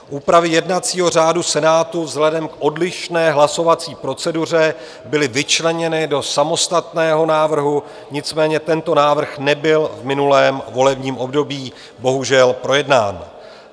Úpravy jednacího řádu Senátu vzhledem k odlišné hlasovací proceduře byly vyčleněny do samostatného návrhu, nicméně tento návrh nebyl v minulém volebním období bohužel projednán.